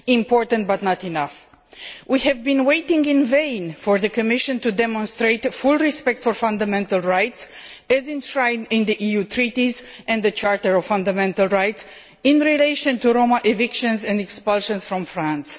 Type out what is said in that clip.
important but not enough. We have been waiting in vain for the Commission to demonstrate full respect for fundamental rights, as enshrined in the EU Treaties and the Charter of Fundamental Rights, in relation to Roma evictions and expulsions from France.